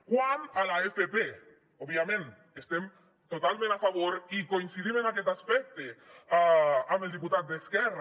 quant a l’fp òbviament estem totalment a favor i coincidim en aquest aspecte amb el diputat d’esquerra